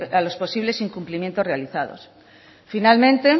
a los posibles incumplimientos realizados finalmente